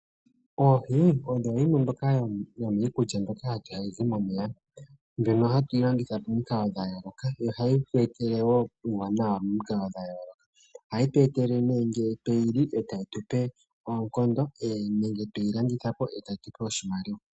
Oohi odho ndhi mwe yomiikulya mbyoka hayi momeya mbyono hatu yi longitha momikalo dha yooloka ,ohayi tu etele uuwanawa momikalo dha yooloka. Ohayi tu etele ne ngele tweyi li etayi tupe oonkondo nenge tweyi landitha po etayi tupe oshimaliwa.